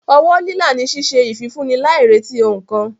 Ọwọ́ lílà ni ṣíṣe ìfifúnni láì retí ohun kan.